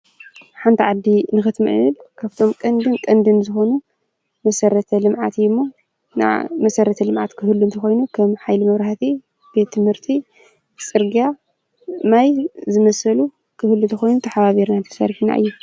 ሓንቲ ዓዲ ንኽትምዕብል ካብቶም ቀንድን ቀንድን ዝኾኑ መሰረተ ልምዓት እዩ እሞ መሰረተ ልምዓት ክህሉ ተኮይኑ ከም ሓይሊ መብራህቲ፣ ቤት ትምርቲ ፣ፅርግያ ፣ማይ ዝመሳሰሉ ክህሉ ተኮይኑ ተሓባቢርና ተሰሪሕና እዩ ።